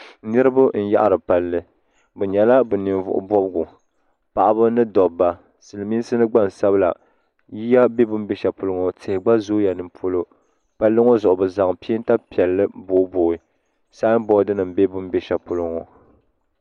Niriba n-yaɣiri palli bɛ nyɛla bɛ Ninvuɣubɔbigu paɣiba ni dobba Silimiinsi ni gbansabila yiya be bɛ ni be shɛli polo ŋɔ tihi gba zooya ni polo palli ŋɔ zuɣu bɛ zaŋla peenta piɛlli booibooi samboodinima bɛ ni be shɛli polo ŋɔ.